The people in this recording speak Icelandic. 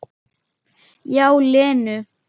Já, Lenu.